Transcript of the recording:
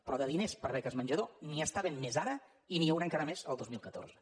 però de diners per a beques menjador n’hi està havent més ara i n’hi haurà encara més el dos mil catorze